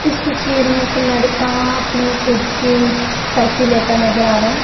इस तस्वीर में एक लड़का अपनी खुद की सेल्फी लेता नजर आ रहा है।